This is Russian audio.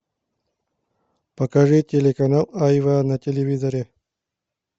покажи телеканал айва на телевизоре